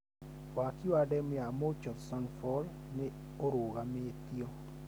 Waki wa demu ya Murchison Falls nĩũrũgamĩtio